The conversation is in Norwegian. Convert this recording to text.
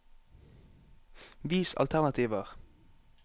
Vis alternativer